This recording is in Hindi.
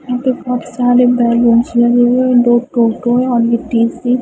यहां पे बहोत सारे बैलूंस लगे हुए हैं दो टोटो है और ये तीसरी --